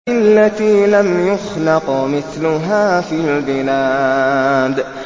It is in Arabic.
الَّتِي لَمْ يُخْلَقْ مِثْلُهَا فِي الْبِلَادِ